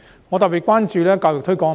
我特別關注教育推廣問題。